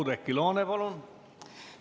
Oudekki Loone, palun!